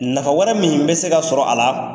Nafa wɛrɛ min bɛ se ka sɔrɔ a la